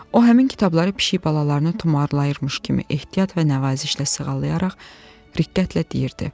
O həmin kitabları pişik balalarını tumarlayırmış kimi ehtiyat və nəvazişlə sığallayaraq diqqətlə deyirdi.